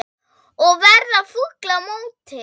Og verða fúll á móti!